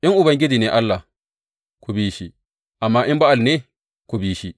In Ubangiji ne Allah, ku bi shi; amma in Ba’al Allah ne, ku bi shi.